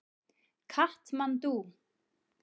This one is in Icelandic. Katmandú